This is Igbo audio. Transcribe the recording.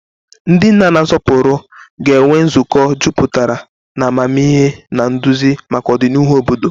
Ndị nna na-asọpụrụ ga-enwe nzukọ jupụtara na amamihe na nduzi maka ọdịnihu obodo.